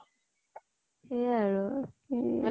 সেয়াই আৰু